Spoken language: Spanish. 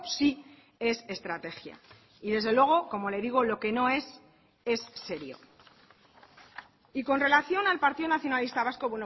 sí es estrategia y desde luego como le digo lo que no es es serio y con relación al partido nacionalista vasco